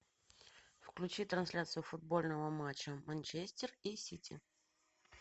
включи трансляцию футбольного матча манчестер и сити